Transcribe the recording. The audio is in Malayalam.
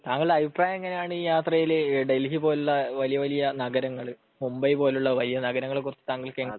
താങ്കളുടെ അഭിപ്രായം എങ്ങിനെ ആണ് ഈ യാത്രയിൽ ഡൽഹി പോലെയുള്ള വലിയ വലിയ നഗരങ്ങൾ മുംബൈ പോലെ ഉള്ള വലിയ വലിയ നഗരങ്ങൾ കുറിച്ച് താങ്കൾക്